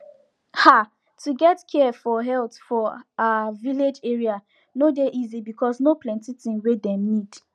ah to get care for health for ah village area no dey easy because no plenti thing wey dem need